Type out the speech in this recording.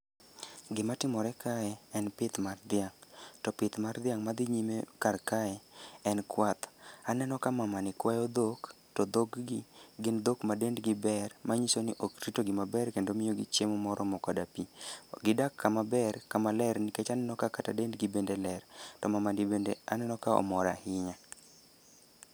Gima timore kae en pith mar dhiang', to pith mar dhiang' madhi nyime kar kae en kwath. Aneno ka mamani kwayo dhok, to dhog gi gin dhok ma dend gi ber. Manyiso ni ok ritogi maber kendo omiyogi chiemo moromo koda pi. Gidak kama ber kama ler nikech aneno kata dend gi bende ler. To mamani bende aneno ka omor ahinya.